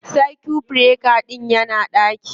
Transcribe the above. Circuit breaker ɗin yana ɗaki